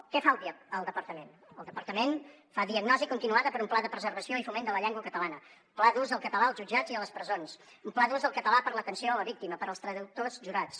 què fa el departament el departament fa diagnosi continuada per un pla de preservació i foment de la llengua catalana un pla d’ús del català als jutjats i a les presons un pla d’ús del català per a l’atenció a la víctima per als traductors jurats